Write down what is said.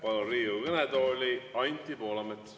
Palun Riigikogu kõnetooli Anti Poolametsa.